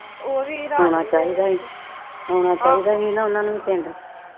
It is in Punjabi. ਆਉਣਾ ਚਾਹੀਦਾ ਹੀ ਨਾ ਉਨਾਂ ਨੂੰ ਵੀ ਪਿੰਡ